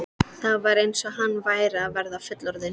Það var eins og hann væri að verða fullorðinn.